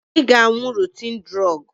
Ị ga-aṅụ rotin drọọgụ!